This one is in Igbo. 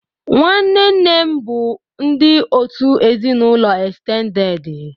Nwanne nne m bụ ndị òtù ezinụlọ estendedị.